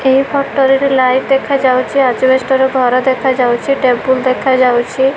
ଏହି ଫଟ ରେ ଲାଇଟ ଦେଖାଯାଉଛି ଆଜବଷ୍ଟେ ର ଘର ଦେଖାଯାଉଛି ଟେମ୍ପୁଲ ଦେଖାଯାଉଛି।